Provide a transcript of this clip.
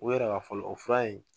O yɛrɛ ka fɔlɔ o fura in